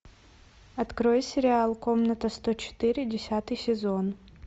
открой сериал комната сто четыре десятый сезон